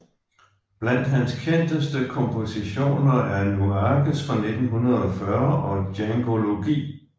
Blandt hans kendteste kompositioner er Nuages fra 1940 og Djangology